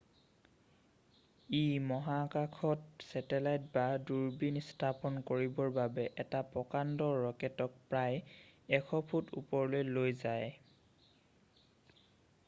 ই মহাকাশত ছেটেলাইট বা দূৰবীন স্থাপন কৰিবৰ বাবে এটা প্ৰকাণ্ড ৰকেটক প্ৰায় 100 ফুট ওপৰলৈ লৈ যায়